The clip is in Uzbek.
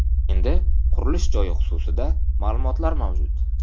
Endi qurilish joyi xususida ma’lumotlar mavjud.